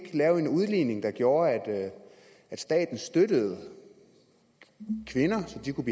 lave en udligning der gjorde at staten støttede kvinderne så de kunne